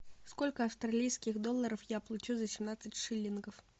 сколько австралийских долларов я получу за семнадцать шиллингов